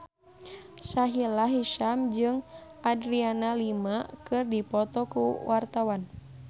Sahila Hisyam jeung Adriana Lima keur dipoto ku wartawan